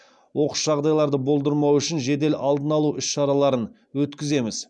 оқыс жағдайларды болдырмау үшін жедел алдын алу іс шараларын өткіземіз